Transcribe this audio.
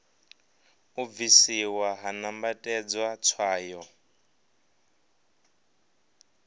u bvisiwa ha nambatedzwa tswayo